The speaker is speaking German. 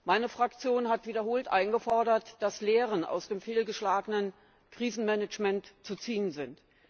Meine Fraktion hat wiederholt eingefordert, dass Lehren aus dem fehlgeschlagenen Krisenmanagement zu ziehen sind.